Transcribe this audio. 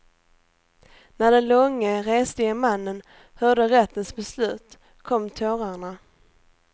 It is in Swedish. När den långe, reslige mannen hörde rättens beslut kom tårarna.